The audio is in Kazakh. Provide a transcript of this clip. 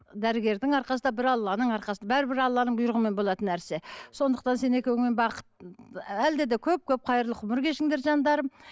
дәрігердің арқасында бір алланың арқасы бәрібір аланың бұйрығымен болатын нәрсе сондықтан сен екеуіңе бақыт әлде де көп көп хайырлы ғұмыр кешіңдер жандарым